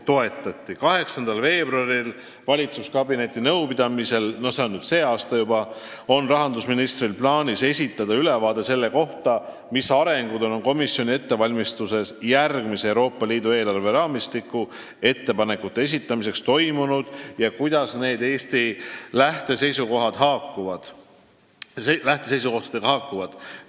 Tänavu 8. veebruaril toimuval valitsuskabineti nõupidamisel on rahandusministril plaanis esitada ülevaade sellest, mis arengud on Euroopa Komisjoni ettevalmistuses järgmise Euroopa Liidu eelarveraamistiku ettepanekute esitamiseks toimunud ja kuidas need ettepanekud Eesti lähteseisukohtadega haakuvad.